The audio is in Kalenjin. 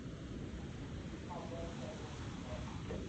mabwoti ale roboni karon